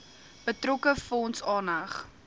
betrokke fonds aanheg